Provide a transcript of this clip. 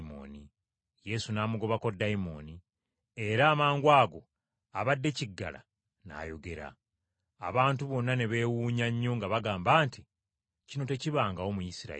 Yesu n’amugobako dayimooni, era amangwago abadde kiggala n’ayogera. Ekibiina ky’abantu ne beewuunya nnyo nga bagamba nti, “Kino tekibangawo mu Isirayiri.”